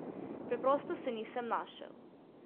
Preprosto se nisem našel.